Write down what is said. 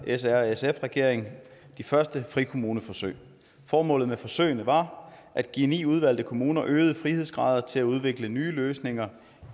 srsf regeringen de første frikommuneforsøg formålet med forsøgene var at give ni udvalgte kommuner øgede frihedsgrader til at udvikle nye løsninger